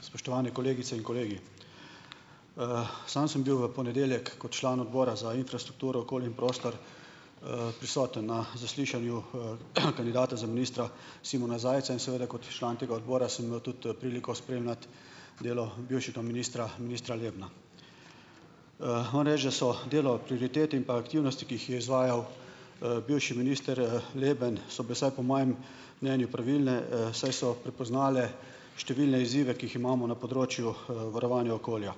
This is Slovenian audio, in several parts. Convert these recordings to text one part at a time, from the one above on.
Spoštovane kolegice in kolegi! Sam sem bil v ponedeljek kot član Odbora za infrastrukturo, okolje in prostor, prisoten na zaslišanju, kandidata za ministra Simona Zajca in seveda kot član tega odbora sem imel tudi priliko spremljati delo bivšega ministra, ministra Lebna. Moram reči, da so delo, prioritete in pa aktivnosti, ki jih je izvajal, bivši minister, Leben - so bile vsaj po mojem mnenju pravilne, saj so prepoznale številne izzive, ki jih imamo na področju, varovanja okolja.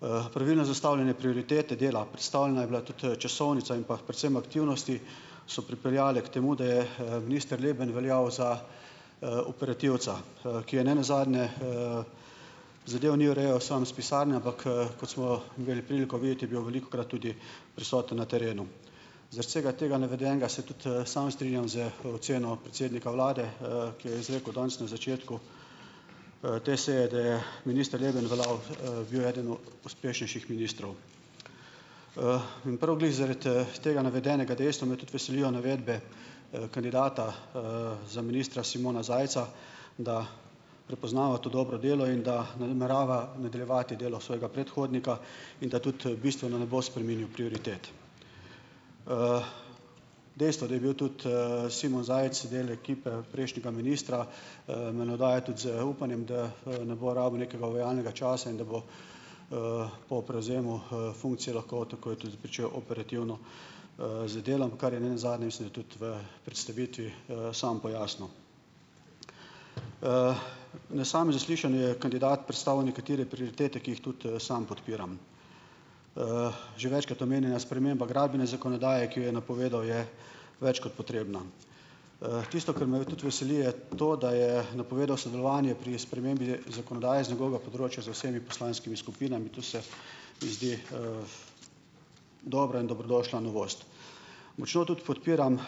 Pravilno je zastavljenje prioritete dela, predstavljena je bila tudi. časovnica in pa predvsem aktivnosti, so pripeljale k temu, da je. minister Leben veljal za, operativca, ki je nenazadnje, zadev ni urejal samo s pisarne, ampak, kot smo imeli priliko videti, je bil velikokrat tudi prisoten na terenu. Zaradi vsega tega navedenega se tudi, sam strinjam z oceno predsednika vlade, ki jo je izrekel danes na začetku, te seje, da je minister Leben veljal, - bil eden od uspešnejših ministrov. In prav glih zaradi, tega navedenega dejstva me tudi veselijo navedbe, kandidata, za ministra, Simona Zajca, da prepoznava to dobro delo in da namerava nadaljevati delo svojega predhodnika in da tudi, bistveno ne bo spreminjal prioritet. Dejstvo, da je bil tudi, Simon Zajc del ekipe prejšnjega ministra, me navdaja tudi z upanjem, da, ne bo rabil nekega uvajalnega časa in da bo, po prevzemu, funkcije lahko takoj tudi pričel operativno, z delom. Kar je nenazadnje, mislim, da tudi v predstavitvi, sam pojasnil, Na samem zaslišanju je kandidat predstavil nekatere prioritete, ki jih tudi, sam podpiram. Že večkrat omenjena sprememba gradbene zakonodaje, ki jo je napovedal, je več kot potrebna. Tisto, kar me tudi veseli, je to, da je napovedal sodelovanje pri spremembi zakonodaje z njegovega področja z vsemi poslanskimi skupinami. To se mi zdi, dobra in dobrodošla novost. Močno tudi podpiram,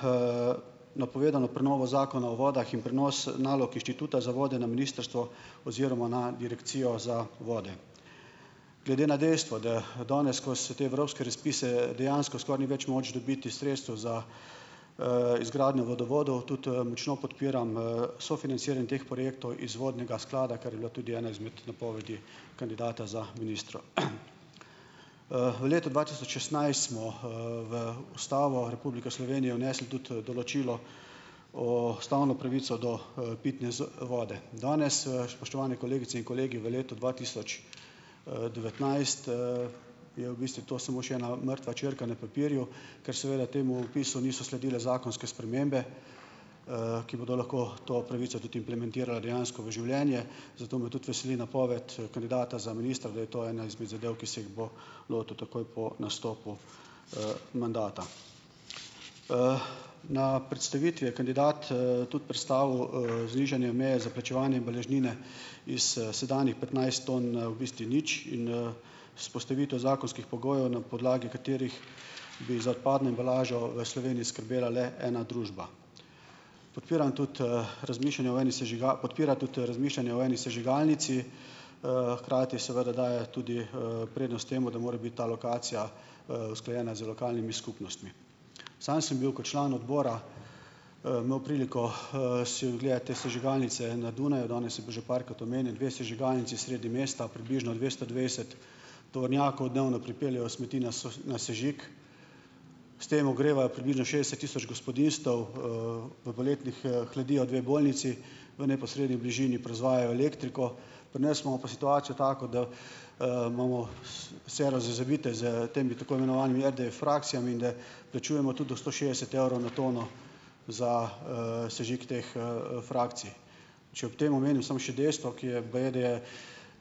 napovedano prenovo Zakona o vodah in prenos nalog Inštituta za vode na ministrstvo oziroma na direkcijo za vode. Glede na dejstvo, da danes, ko se te evropske razpise dejansko skoraj ni več moč dobiti sredstev za, izgradnjo vodovodov, tudi močno podpiram, sofinanciranje teh projektov iz vodnega sklada, kar je bila tudi ena izmed napovedi kandidata za ministra. V letu dva tisoč šestnajst smo, v Ustavo Republike Slovenije vnesli tudi, določilo, ustavno pravico do, pitne vode. Danes, spoštovani kolegice in kolegi, v letu dva tisoč, devetnajst, je v bistvu to samo še ena mrtva črka na papirju, ker seveda temu vpisu niso sledile zakonske spremembe, ki bodo lahko to pravico tudi implementirale dejansko v življenje. Zato me tudi veseli napoved kandidata za ministra, da je to ena izmed zadev, ki se jih bo lotil takoj po nastopu, mandata. Na predstavitvi je kandidat, tudi predstavil, znižanje meje za plačevanje embalažnine iz, sedanjih petnajst ton na v bistvu nič in, vzpostavitev zakonskih pogojev, na podlagi katerih bi za odpadno embalažo v Sloveniji skrbela le ena družba. Podpiram tudi, razmišljanje o eni podpira tudi razmišljanje o eni sežigalnici, hkrati seveda daje tudi, prednost temu, da more biti ta lokacija, usklajena z lokalnimi skupnostmi. Samo sem bil kot član odbora, imel priliko, si ogledati te sežigalnice na Dunaju. Danes je bil že parkrat omenjen, dve sežigalnici sredi mesta, približno dvesto dvajset tovornjakov dnevno pripeljejo smeti na na sežig. S tem ogrevajo približno šestdeset tisoč gospodinjstev, V poletnih, hladijo dve bolnici, v neposredni bližini proizvajajo elektriko. Pri nas imamo pa situacijo tako, da, imamo vse razvite s temi tako imenovanimi RDF-frakcijami in da plačujemo tudi do sto šestdeset evrov na tono za, sežig teh, frakcij. Če ob tem omenim samo še dejstvo, ki je, baje, da je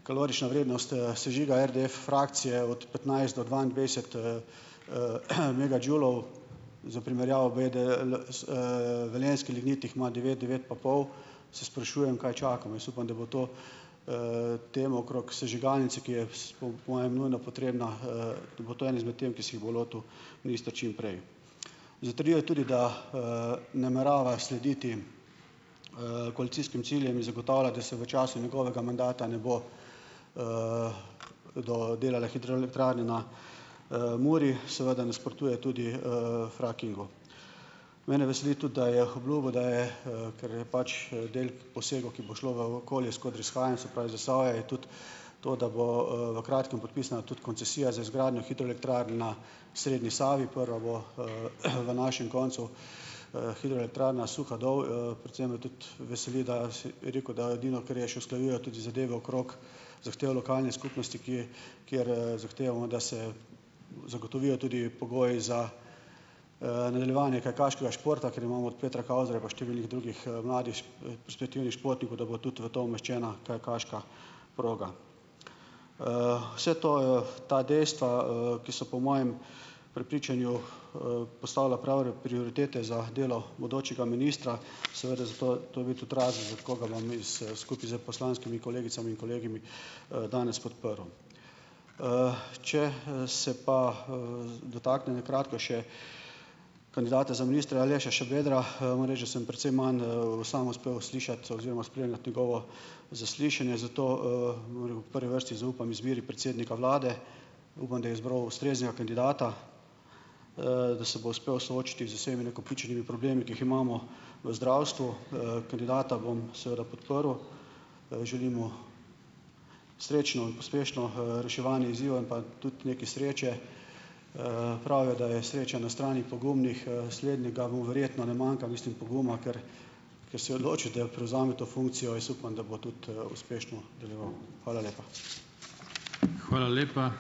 kalorična vrednost, sežiga RDF-frakcije od petnajst do dvaindevetdeset, megadžulov, za primerjavo, baje, da da velenjski lignit jih ima devet, devet pa pol, se sprašujem, kaj čakamo. Jaz upam, da bo to, tem okrog sežigalnice, ki je, po mojem, nujno potrebna, bo to ena izmed tem, ki se jih bo lotil minister čim prej. Zatrjuje tudi, da, namerava slediti, koalicijskim ciljem in zagotavlja, da se v času njegovega mandata ne bo, do delale hidroelektrarne na, Muri. Seveda nasprotuje tudi, frackingu. Mene veseli tudi, da je obljubil, da, je, ker pač del posegov, ki bo šlo v okolje, skoraj že skrajen, se pravi Zasavje, je tudi to, da bo, v kratkem podpisana tudi koncesija za izgradnjo hidroelektrarn na srednji Savi. Prva bo, v našem koncu, hidroelektrarna Suhadol, Predvsem me tudi veseli, da rekel, da edino, kar je še, usklajujejo tudi zadeve okrog zahtev lokalnih skupnosti, ki kjer, zahtevamo, da se zagotovijo tudi pogoji za, nadaljevanje kajakaškega športa, ker imamo od Petra Kauzerja, pa številnih drugih, perspektivnih športnikov, da bo tudi v to umeščena kajakaška proga. Vse to, ta dejstva, ki so, po mojem prepričanju, postavlja prave prioritete za delo bodočega ministra, seveda zato, to je bil tudi razlog, koga bomo mi s skupaj s poslanskimi kolegicami in kolegi, danes podprl, Če se pa, dotaknem na kratko še kandidata za ministra Aleša Šabedra, moram reči, da sem precej manj, sam uspel slišati oziroma spremljati njegovo zaslišanje, zato, moram v prvi vrsti zaupam izbiri predsednika vlade. Upam, da je izbral ustreznega kandidata, da se bo uspel soočiti z vsemi nakopičenimi problemi, ki jih imamo v zdravstvu. Kandidata bom seveda podprl. Želim mu srečno in uspešno, reševanje izzivov in pa tudi nekaj sreče. Pravijo, da je sreča na strani pogumnih. Slednjega mu verjetno ne manjka, mislim poguma, ker ker se je odločil, da prevzame to funkcijo. Jaz upam, da bo tudi, uspešno deloval. Hvala lepa.